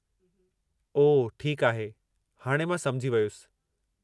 ओह ठीकु आहे, हाणे मां समुझी वयुसि।